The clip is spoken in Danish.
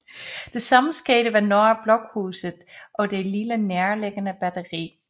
Det samme skete ved Norra Blockhuset og det lille nærliggende batteri